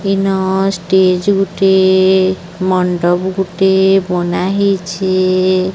N stage ଗୁଟିଏ ମଣ୍ଡପ ଗୁଟିଏ ବନା ହେଇଛେ।